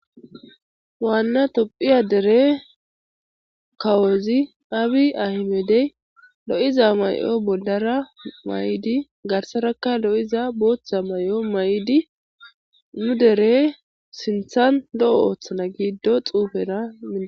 Waanna topphiya dere kawozi abi ahimedey lo7iza may7o bollara mayidi garsarakka lo7iza booththa mayo ma7idi mu dere sinthan lo7o ooththana giddo xuufera.